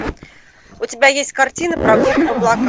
у тебя есть картина прогулка в облаках